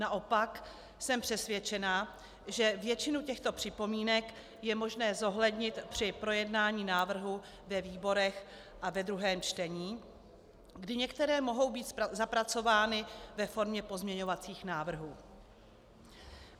Naopak jsem přesvědčena, že většinu těchto připomínek je možné zohlednit při projednání návrhu ve výborech a ve druhém čtení, kdy některé mohou být zapracovány ve formě pozměňovacích návrhů.